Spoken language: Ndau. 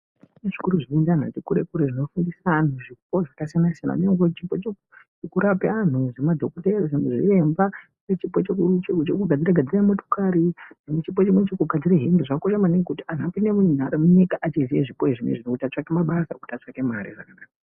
Kune zvikora zvinoende anhu ati kure kure zvinofundise anhu zvipo zvakasiyana siyana. Kune chipo chekurape anhu zvemadhokodheya, zvimwe zviremba, kune chipo chekugadzire gadzire motokari, kune chekugadzire hembe zvakakosha maningi kuti anhu apinde munyika echiziye zvipo izvo zvinezvi kuti atsvake mabasa kuti atsvake mare